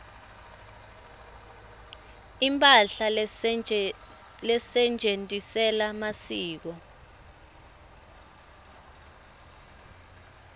imphahla lesetjentisela masiko